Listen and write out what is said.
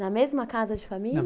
Na mesma casa de família? não.